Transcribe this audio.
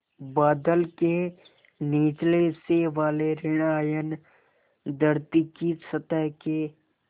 बादल के निचले हिस्से वाले ॠण आयन धरती की सतह के